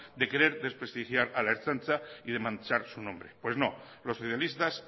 de querer desprestigiar a la ertzaintza y de manchar su nombres pues no los socialistas